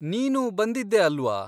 ನೀನೂ ಬಂದಿದ್ದೆ ಅಲ್ವಾ?